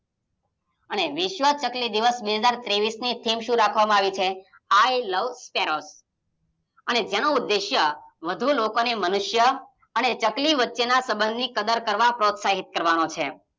અને વિસ્વ ચકલી દિવસ બે હજાર ત્રેવીસ થીમ શું રાખવામાં આવી છે i love sparrow અને જેનો ઉદ્દેશય વધુ લોકોને મનુષ્ય અને ચકલી વચ્ચેના સંબંધની કદર કરવા પ્રોત્સહિત કરવાનો છે.